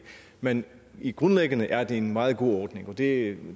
men grundlæggende er det en meget god ordning og det